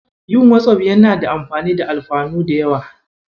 Yin Wazaf yana da amfani da alfanu da yawa.